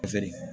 feere